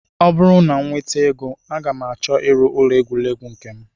Ọ bụrụ na m nweta ego aga m achọ ịrụ ụlọ egwuregwu nke m